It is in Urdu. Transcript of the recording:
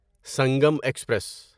سنگم ایکسپریس